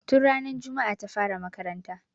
Tun ranar juma'a ta fara makaranta